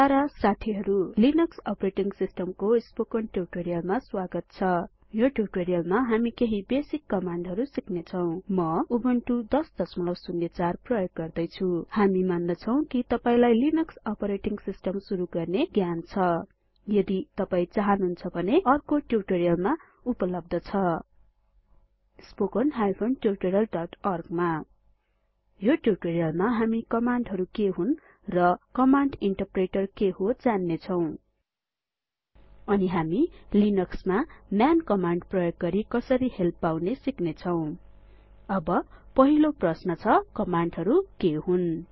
para साथीहरु Linux operating सिस्टमको spoken ट्युटोरीयलमा स्वागत छ यो ट्युटोरीयलमा हामी केहि बेसिक कमाण्डहरु सिक्नेछौ म उबुन्टु १००४ प्रयोग गर्दैछु हामी मान्दछौं कि तपाइलाई लिनक्स अपरेटिंग सिस्टम सुरु गर्ने ज्ञान छ यदि तपाइ चाहनुहुन्छ भने यो अर्को ट्युटोरीयलमा उपलब्ध छ वेबसाइट httpspoken tutorialorg यो ट्युटोरीयलमा हामी कमाण्डहरु के हुन् र कमाण्ड इन्टरप्रेटर के हो जान्नेछौँ अनि हामी लिनक्समा म्यान कमाण्ड प्रयोग गरि कसरी हेल्प पाउने सिक्नेछौं अब पहिलो प्रश्न छ कमाण्डहरु के हुन्